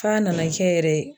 F'a nana kɛ yɛrɛ